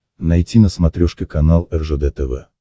найти на смотрешке канал ржд тв